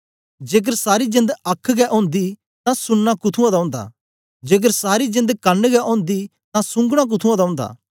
जेकर सारी जेंद आख गै ओंदी तां सुनना कुथुंआं दा ओंदा जेकर सारी जेंद कन गै ओंदी तां सूंघना कुथुंआं दा ओंदा